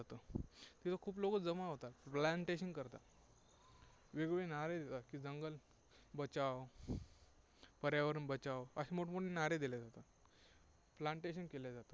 तिथे खूप लोकं जमा होतात, plantation करतात, वेगवेगळे नारे देतात की जंगल बचाओ, पर्यावरण बचाओ, असे मोठ मोठे नारे दिले जातात, plantation केल्या जाते.